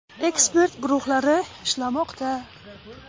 Ekspert guruhlari ishlamoqda.